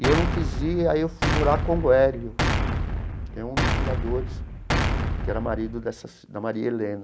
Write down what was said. E eu não quis ir, aí eu fui morar com o Hélio, que é um dos fundadores, que era marido dessa da Maria Helena.